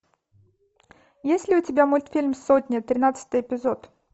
есть ли у тебя мультфильм сотня тринадцатый эпизод